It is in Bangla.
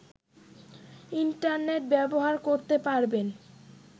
ইন্টারনেট ব্যবহার করতে পারবেন